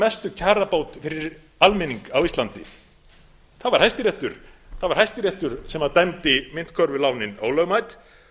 mestu kjarabót fyrir almenning á íslandi það var hæstiréttur það var hæstiréttur sem dæmdi myntkörfulánin ólögmæt